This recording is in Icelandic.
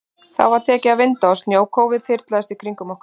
Þá var tekið að vinda og snjókófið þyrlaðist í kringum okkur.